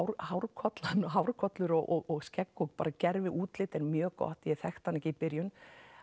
hárkollan og hárkollur hárkollur og skegg bara gervi útlit er mjög gott ég þekkti hann ekki í byrjun